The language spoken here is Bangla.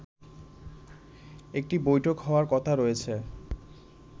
একটি বৈঠক হওয়ার কথা রয়েছে